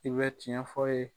I bɛ tiɲɛ f'a ye